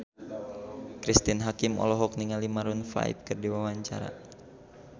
Cristine Hakim olohok ningali Maroon 5 keur diwawancara